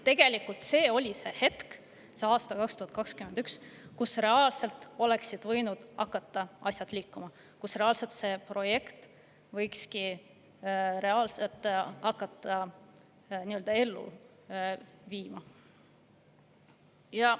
Tegelikult see oli hetk – aastal 2021 –, kui reaalselt oleksid võinud hakata asjad liikuma, kui reaalselt olekski võinud hakata seda projekti ellu viima.